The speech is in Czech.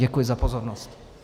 Děkuji za pozornost.